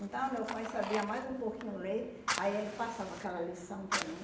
Então, meu pai sabia mais um pouquinho ler, aí ele passava aquela lição para mim.